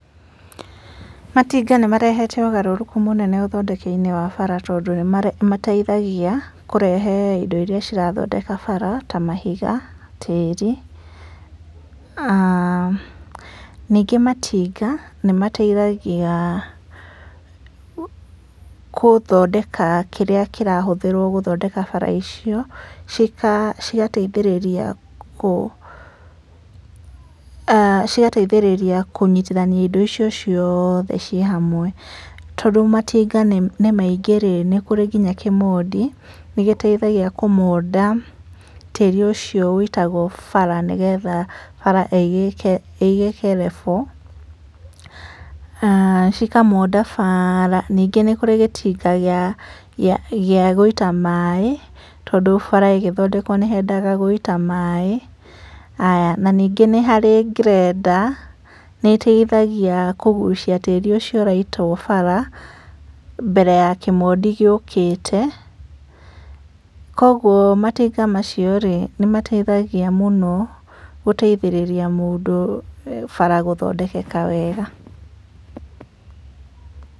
Matinga nĩ marehete ũgarũrũku mũnene ũthondeki-inĩ wa bara, tondũ nĩ mateithagia kũrehe ĩndo ĩria cirathondeka bara ta mahiga, tĩri. aah ningĩ matinga nĩ mateithagia gũthondeka kĩrĩa kĩrahũthĩrwo gũthondeka bara icio cigateithĩrĩria kũnyitithania ĩndo icio ciothe ci hamwe. Tondũ matinga nĩ maingĩ rĩ nĩ kũrĩ nginya kĩmondi, nĩ gĩteithagia kũmonda tĩri ũcio wũitagwo bara, nĩgetha bara ĩgĩke level cikamonda bara. Ningĩ nĩ kũrĩ gĩtinga gĩa gũĩta maĩ, tondũ bara ĩgĩthondekwo nĩ yendaga gũitwo maĩ, haya na ningĩ nĩ harĩ grender nĩ ĩteithagia kũgucia tĩri ũcio ũraitwo bara mbere ya kĩmondi gĩũkĩte. Koguo matinga macio rĩ nĩ mateithagia mũno gũteithĩrĩria mũndũ bara gũthondekeka wega.